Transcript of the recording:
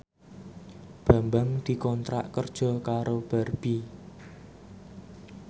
Bambang dikontrak kerja karo Barbie